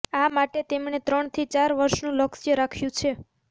આ માટે તેમણે ત્રણ થી ચાર વર્ષનું લક્ષ્ય રાખ્યું છે